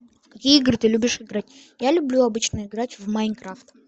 в какие игры ты любишь играть я люблю обычно играть в майнкрафт